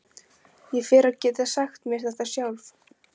Ég fer að geta sagt mér þetta sjálf.